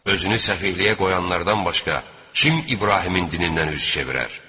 Özünü səfihliyə qoyanlardan başqa kim İbrahimin dinindən üz çevirər?